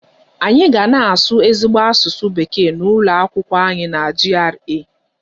Anyị ga na-asụ ezigbo asụsụ bekee n'ụlọ akwụkwọ anyị na GRA.